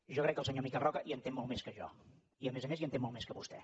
jo crec que el senyor miquel roca hi entén molt més que jo i a més a més hi entén molt més que vostè